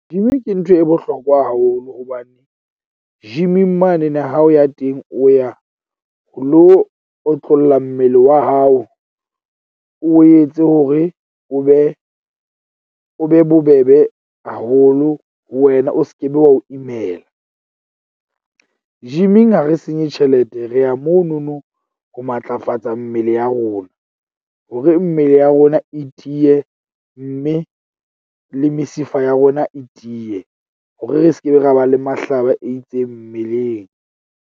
Gym ke ntho e bohlokwa haholo hobane gym-ing mane ne ha o ya teng, o ya o lo otlolla mmele wa hao. O etse hore o be o be bobebe haholo ho wena. O skebe wa o imela. Gym-ing ha re senye tjhelete. Re ya mono no ho matlafatsa mmele ya rona hore mmele ya rona e tiye, mme le mesifa ya rona e tiye hore re skebe ra ba le mahlaba a itseng mmeleng.